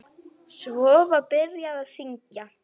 Svo var byrjað að syngja.